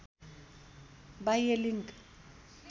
बाह्य लिङ्क